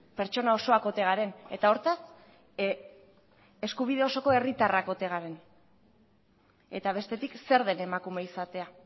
pertsona osoak ote garen eta hortaz eskubide osoko herritarrak ote garen eta bestetik zer den emakume izatea